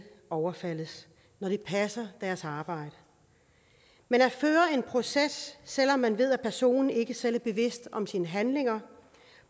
overfaldes når de passer deres arbejde men at føre en proces selv om man ved at personen ikke selv er bevidst om sine handlinger